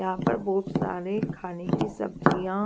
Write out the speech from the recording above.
यहां पर बहुत सारे खाने की सब्जियां --